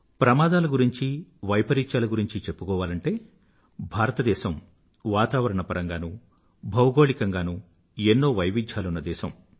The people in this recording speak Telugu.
ప్రమాదాల గురించి వైపరీత్యాల గురించి చెప్పుకోవాలంటే భారతదేశం వాతావరణ పరంగానూ భౌగోళికంగానూ ఎన్నో వైవిధ్యాలున్న దేశం